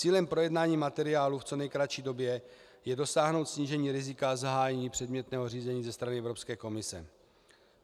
Cílem projednání materiálu v co nejkratší době je dosáhnout snížení rizika zahájení předmětného řízení ze strany Evropské komise.